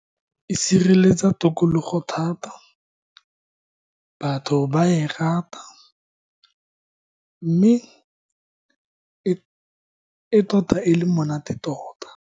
E sireletsa tokologo thata, batho ba e rata mme e tota e le monate tota.